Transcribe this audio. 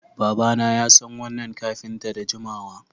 Babana yasan wannan kafinta da jimawa